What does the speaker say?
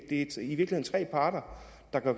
der